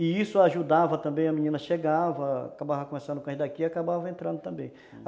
E isso ajudava também, a menina chegava, acabava conversando com a gente e acabava entrando também, uhum.